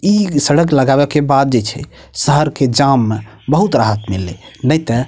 इ सड़क लगावे के बाद जे छै शहर के जाम में बहुत राहत मिलले ने ते --